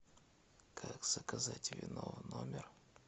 как заказать вино в номер